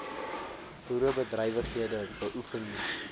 boerderybedrywighede beoefen moet